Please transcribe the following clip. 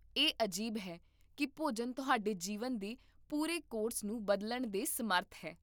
ਇਹ ਅਜੀਬ ਹੈ ਕਿ ਭੋਜਨ ਤੁਹਾਡੇ ਜੀਵਨ ਦੇ ਪੂਰੇ ਕੋਰਸ ਨੂੰ ਬਦਲਣ ਦੇ ਸਮਰੱਥ ਹੈ